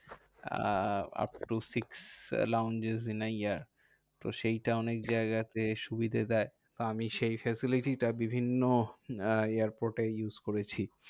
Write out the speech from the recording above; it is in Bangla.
Ah upto six long in a year তো সেইটা অনেক জায়গাতে সুবিধা দেয়। তো আমি সেই facility টা বিভিন্ন airport এ use করেছি।